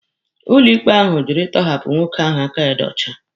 Ụlọ ikpe ahụ jụrụ ịtọhapụ nwoke ahụ aka ya dị ọcha.